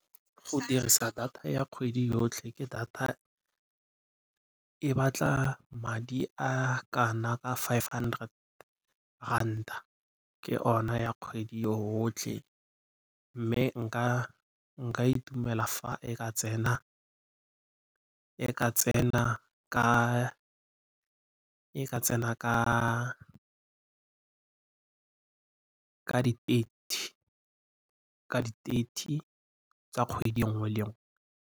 Go dirisa data ya kgwedi yotlhe e batla madi a ka na ka five hundred ranta ke o na ya kgwedi yotlhe. Mme nka itumela fa e ka tsena ka di thirty tsa kgwedi nngwe le nngwe.